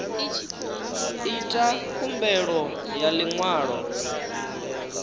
ita khumbelo ya ḽi ṅwalo